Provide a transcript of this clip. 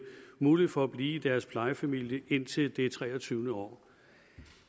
mulighed for at blive i deres plejefamilie indtil det treogtyvende år